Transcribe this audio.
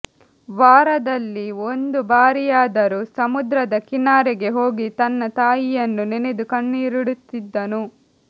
ವಾರದಲ್ಲಿ ಒಂದು ಬಾರಿಯಾದರೂ ಸಮುದ್ರದ ಕಿನಾರೆಗೆ ಹೋಗಿ ತನ್ನ ತಾಯಿಯನ್ನು ನೆನೆದು ಕಣ್ಣೀರಿಡುತ್ತಿದ್ದನು